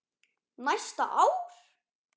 Næsta ár?